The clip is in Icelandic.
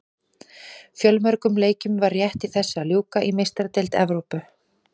Fjölmörgum leikjum var rétt í þessu að ljúka í Meistaradeild Evrópu.